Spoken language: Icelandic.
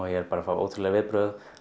er bara að fá ótrúleg viðbrögð